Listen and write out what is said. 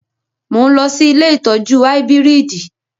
Mo ń lọ sí ilé ìtọ́jú áíbírìdì